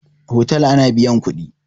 Otal ana biyan kuɗi.